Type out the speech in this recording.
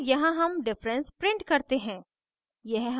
और यहाँ हम difference print करते हैं